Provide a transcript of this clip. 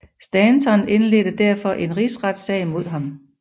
Stanton indledte derfor en rigsretssag mod ham